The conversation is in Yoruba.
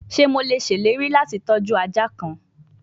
Ṣe Mo le ṣe ileri lati tọju aja kan?